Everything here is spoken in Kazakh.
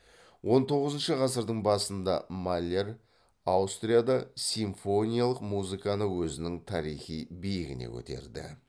он тоғызыншы ғасырдың басында маллер аустрияда симфониялық музыканы өзінің тарихи биігіне көтерді